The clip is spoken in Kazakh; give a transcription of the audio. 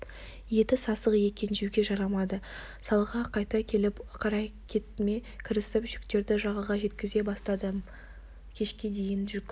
еті сасық екен жеуге жарамады салға қайта келіп қарекетіме кірісіп жүктерді жағаға жеткізе бастадым кешке дейін жүк